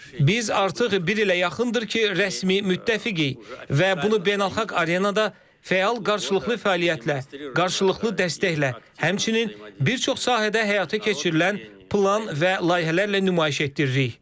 Biz artıq bir ilə yaxındır ki, rəsmi müttəfiqik və bunu beynəlxalq arenada fəal qarşılıqlı fəaliyyətlə, qarşılıqlı dəstəklə, həmçinin bir çox sahədə həyata keçirilən plan və layihələrlə nümayiş etdiririk.